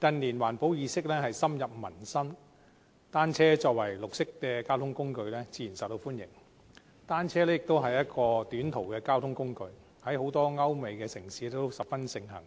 近年，環保意識深入民心，單車作為綠色交通工具，自然受到歡迎，而且單車也是一種短途交通工具，在很多歐美城市十分盛行，